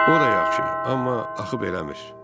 O da yaxşı, amma axı beləmir.